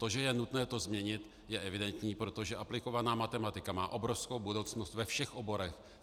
To, že je nutné to změnit, je evidentní, protože aplikovaná matematika má obrovskou budoucnost ve všech oborech.